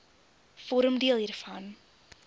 vorm deel hiervan